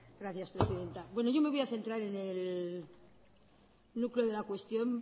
gracias presidenta bueno yo me voy a centrar en el núcleo de la cuestión